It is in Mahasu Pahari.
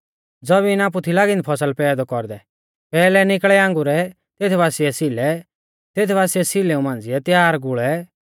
ज़बीन आपु थी लागी औन्दी फसल पैदौ कौरदै पैहलै निकल़ै आंगुरै तेत बासिऐ सीलै तेत बासिऐ सीलेऊ मांझ़िऐ त्यार गुल़ै